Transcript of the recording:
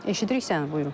Eşidirik səni, buyurun.